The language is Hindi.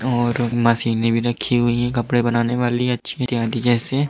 और मशीनें भी रखी हुई हैं कपड़े बनाने वाली अच्छी इत्यादि जैसे।